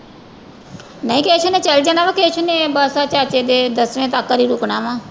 ਨਹੀਂ ਕੇਸੂ ਨੇ ਚਲੇ ਜਾਣਾ ਵਾਂ ਕੇਸੂ ਨੇ ਬਸ ਚਾਚੇ ਦਸਵੇਂ ਤੱਕ ਲਈ ਰੁੱਕਣਾ ਵਾਂ।